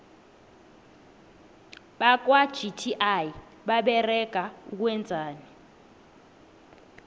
bakwa gti baberega ukwenzani